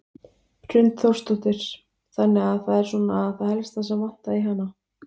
Hrund Þórsdóttir: Þannig að það er svona það helsta sem vantaði í hana?